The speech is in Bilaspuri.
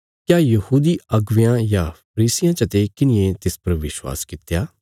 क्या यहूदी अगुवेयां या फरीसियां चते किन्हिये तिस पर विश्वास कित्या